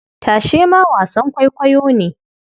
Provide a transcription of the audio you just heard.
Tashe ma wasan kwaikwayo ne.